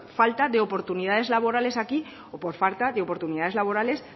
falta de oportunidades laborales aquí o por falta de oportunidades laborales